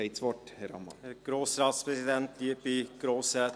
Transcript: Herr Ammann, Sie haben das Wort.